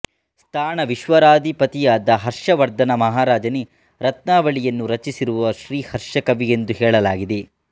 ಸ್ಥಾಣವಿಶ್ವರಾಧಿಪಧಿಯಾದ ಹರ್ಷ್ವರ್ಧನ ಮಹಾರಾಜನೇ ರತ್ನಾವಳಿ ಯನ್ನು ರಚಿಸಿರುವ ಶ್ರೀಹರ್ಷ ಕವಿ ಎಂದು ಹೇಳಲಾಗಿದೆ